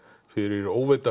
fyrir